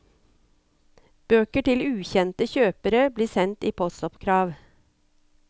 Bøker til ukjente kjøpere blir sendt i postoppkrav.